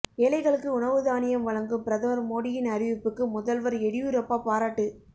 ஏழைகளுக்கு உணவு தானியம் வழங்கும் பிரதமா் மோடியின் அறிவிப்புக்கு முதல்வா் எடியூரப்பா பாராட்டு